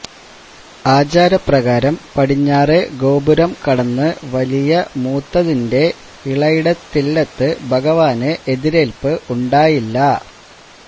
ആചാരപ്രകാരം പടിഞ്ഞാറെ ഗോപുരം കടന്ന് വലിയ മൂത്തതിന്റെ ഇളയിടത്തില്ലത്ത് ഭഗവാന് എതിരേല്പ് ഉണ്ടായില്ല